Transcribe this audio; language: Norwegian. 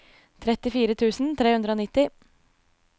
trettifire tusen tre hundre og nitti